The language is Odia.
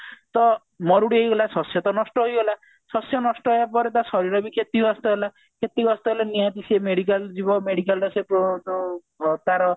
ତ ମରୁଡି ହେଇଗଲା ଶସ୍ଯ ତ ନଷ୍ଟ ହେଇଗଲା ଶସ୍ଯ ନଷ୍ଟ ହବା ପରେ ତା ଶରୀର କ୍ଷତିଗ୍ରସ୍ତ ହେଲା କ୍ଷତିଗ୍ରସ୍ତ ହେଲେ ନିହାତି ସିଏ medical medical ରେ ସିଏ ପ ପ ପ ତାର